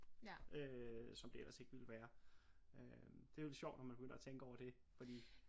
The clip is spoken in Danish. Øh som det ellers ikke ville være øh det jo lidt sjovt når man begynder at tænke over det fordi